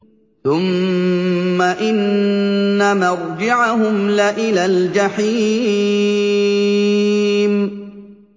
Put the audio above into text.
ثُمَّ إِنَّ مَرْجِعَهُمْ لَإِلَى الْجَحِيمِ